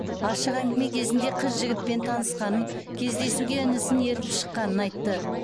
ашық әңгіме кезінде қыз жігітпен танысқанын кездесуге інісін ертіп шыққанын айтты